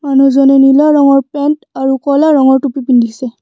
মানুহজনে নীলা ৰঙৰ পেণ্ট আৰু ক'লা ৰঙৰ টুপী পিন্ধিছে।